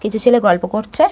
কিছু ছেলে গল্প করছে।